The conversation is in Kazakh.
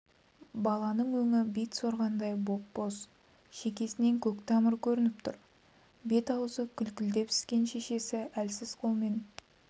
баланың өңі бит сорғандай боп-боз шекесінен көк тамыры көрініп тұр бет-аузы күлкілдеп іскен шешесі әлсіз қолмен